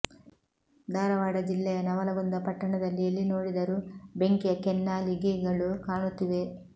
ಧಾರವಾಡ ಜಿಲ್ಲೆಯ ನವಲಗುಂದ ಪಟ್ಟಣದಲ್ಲಿ ಎಲ್ಲಿ ನೋಡಿದರೂ ಬೆಂಕಿಯ ಕೆನ್ನಾಲಿಗೆಗಳು ಕಾಣುತ್ತಿವೆ